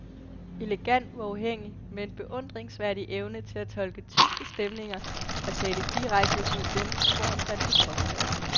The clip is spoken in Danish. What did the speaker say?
Elegant, uafhængig, med en beundringsværdig evne til at tolke tyske stemninger, og tale direkte imod dem, hvor han fandt det påkrævet.